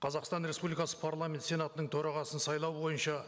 қазақстан республикасы парламент сенатының төрағасын сайлау бойынша